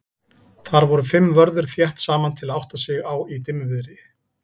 Þar voru fimm vörður þétt saman til að átta sig á í dimmviðri.